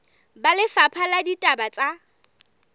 ba lefapha la ditaba tsa